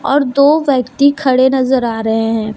और दो व्यक्ति खड़े नज़र आ रहे हैं।